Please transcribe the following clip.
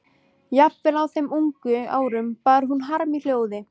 Jafnvel á þeim ungu árum bar hún harm í hljóði.